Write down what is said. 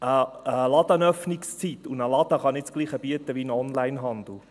Eine Ladenöffnungszeit und ein Laden können nicht dasselbe bieten wie ein Onlinehandel.